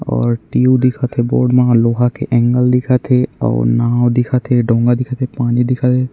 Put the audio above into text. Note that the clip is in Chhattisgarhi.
और टीऊ दिखत है बोर्ड मा लोहा के एंगल दिखत है और नाव दिखत है डोंगा दिखत है पानी दिखत है।